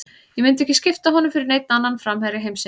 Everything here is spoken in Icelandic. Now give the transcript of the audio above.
Ég myndi ekki skipta honum fyrir neinn annan framherja heimsins.